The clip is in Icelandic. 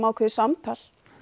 ákveðið samtal